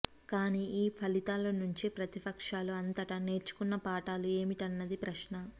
కాని ఈ ఫలితాలనుంచి ప్రతిపక్షాలు అంతటా నేర్చుకున్న పాఠాలు ఏమిటన్నది ప్రశ్న